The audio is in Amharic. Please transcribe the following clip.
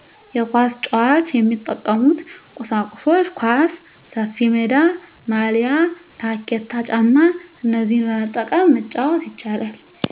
የኳስ ጫዋች የሚጠቀሙበት ቁሳቁሶች ኳስ፣ ሰፊሜዳ፣ ማልያ፣ ታኬታ ጫማ እነዚህን በመጠቀም መጫወት ይቻላል